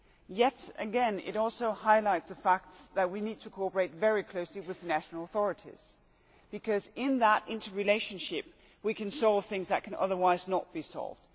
Yet again it also highlights the fact that we need to cooperate very closely with national authorities because in that interrelationship we can solve things that can otherwise not be solved.